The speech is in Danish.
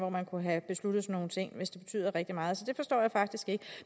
hvor man kunne have besluttet sådan nogle ting hvis det betyder rigtig meget så det forstår jeg faktisk ikke